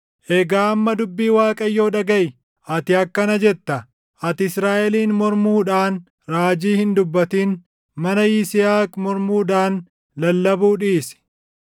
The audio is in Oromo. Egaa amma dubbii Waaqayyoo dhagaʼi. Ati akkana jetta; “ ‘Ati Israaʼeliin mormuudhaan raajii hin dubbatin; mana Yisihaaq mormuudhaan lallabuu dhiisi.’